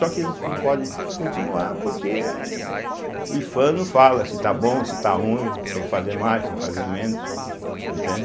Só que eles não podem continuar, porque o ifam não fala se está bom, se está ruim, se tem que fazer mais, se tem que fazer menos, entende?